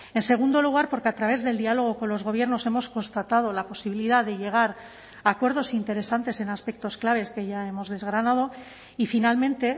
en segundo lugar porque a través del diálogo con los gobiernos hemos constatado la posibilidad de llegar a acuerdos interesantes en aspectos claves que ya hemos desgranado y finalmente